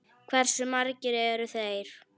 Hversu margir eru þeir?